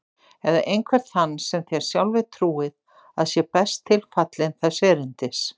Eða einhvern þann sem þér sjálfir trúið að sé best tilfallinn þess erindis.